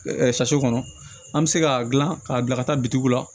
kɔnɔ an bɛ se k'a dilan k'a bila ka taa bitigiw la